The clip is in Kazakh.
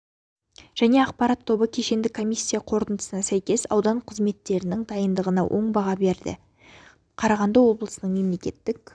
және ақпарат тобы кешенді комиссия қорытындысына сәйкес аудан қызметтерінің дайындығына оң баға берілді қарағанды облысының мемлекеттік